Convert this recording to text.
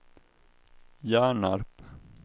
Hjärnarp